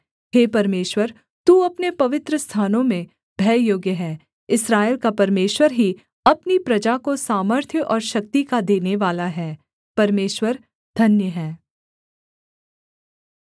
हे परमेश्वर तू अपने पवित्रस्थानों में भययोग्य है इस्राएल का परमेश्वर ही अपनी प्रजा को सामर्थ्य और शक्ति का देनेवाला है परमेश्वर धन्य है